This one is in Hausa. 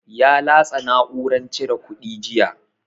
Ya latsa na'uran cire kuɗi jiya.